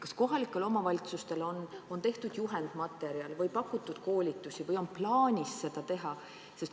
Kas kohalikele omavalitsustele on tehtud juhendmaterjal või on neile pakutud koolitusi või on plaanis seda teha?